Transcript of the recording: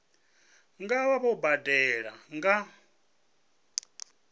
nga vha vho badela nga